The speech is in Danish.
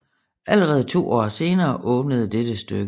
Allerede to år senere åbnede dette stykke